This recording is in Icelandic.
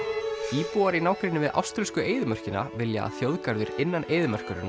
íbúar í nágrenni við áströlsku eyðimörkina vilja að þjóðgarður innan eyðimerkurinnar